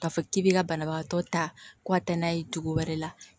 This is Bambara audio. K'a fɔ k'i bɛ ka banabagatɔ ta ko a tɛ n'a ye dugu wɛrɛ la